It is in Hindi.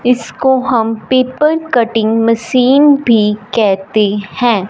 इसको हम पेपर कटिंग मशीन भी कहते हैं।